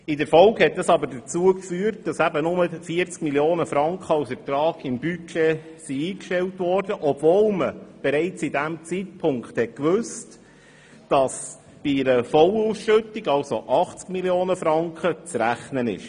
In der Folge hat das Vorgehen jedoch dazu geführt, dass nur 40 Mio. Franken als Ertrag im Budget eingestellt wurden, obwohl man bereits zu diesem Zeitpunkt gewusst hat, dass bei einer vollen Ausschüttung mit 80 Mio. Franken zu rechnen ist.